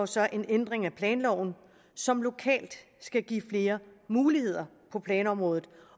så en ændring af planloven som lokalt skal give flere muligheder på planområdet